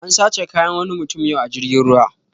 An sace kayan wani mutum yau a jirgin ruwa